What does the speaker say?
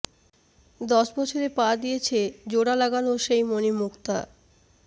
দশ বছরে পা দিয়েছে জোড়া লাগানো সেই মনি মুক্তা